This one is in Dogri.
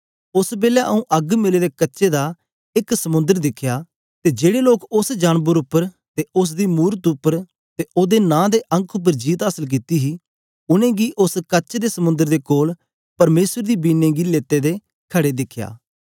ओस बेलै आऊँ अग्ग मिले दे कच्चे दा एक समुंद्र दिखिया ते जेड़े लोक उस्स जानबर उपर ते उस्स दी मूरत उपर ते ओदे नां दे अंक उपर जीत आसल कित्ती हे उनेंगी उस्स कच दे समुंद्र दे कोल परमेसर दी वीणें गी लेते दे खड़े दिखया